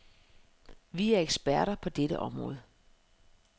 Vi er eksperter på dette område.